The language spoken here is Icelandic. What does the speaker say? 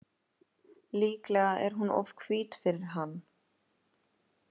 Líklega er hún of hvít fyrir hann.